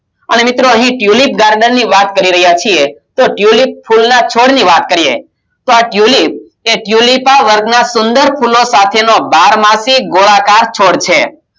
અને મિત્રો અહી tulip garden ની વાત કરી રહ્યા છીએ તો tulip ફૂલના છોડ ની વાત કરીએ તો આ tulip એ tulip વર્ગના સુંદર ફૂલો સાથેનો બારમાસિક ગોળાકાર છોડ છે